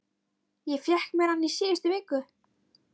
Ég fékk mér hann í síðustu viku.